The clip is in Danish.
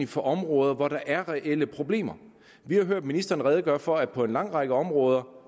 for områder hvor der er reelle problemer vi har hørt ministeren redegøre for at det på en lang række områder